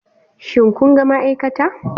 Shin kun ga ma'aikata?